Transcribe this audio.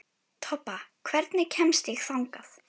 Tobba, hvernig kemst ég þangað?